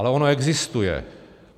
Ale ono existuje.